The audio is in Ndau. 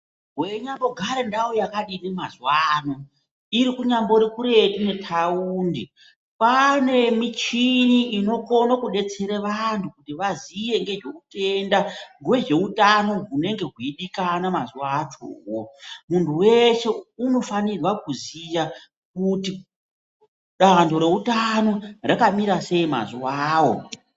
Weinyambo gare ndau yakadini mazuwa ano irikunyambori kuretu ne taundi kwanemichini inokone kubetsere vantu kuti vaziye ngezveutenda hwezveutano hunenge weidikana mazuwa acho owowo, muntu weshe unofanirwa kuziya kuti dando reutano rakamira sei mazuwawo.